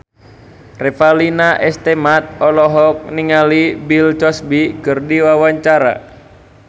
Revalina S. Temat olohok ningali Bill Cosby keur diwawancara